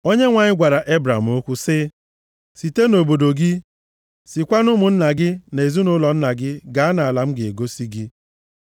Onyenwe anyị gwara Ebram okwu sị, “Site nʼobodo gị, sikwa na ụmụnna gị na ezinaụlọ nna gị, gaa nʼala m ga-egosi gị.